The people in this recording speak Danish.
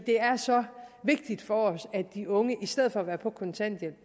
det er så vigtigt for os at de unge i stedet for at være på kontanthjælp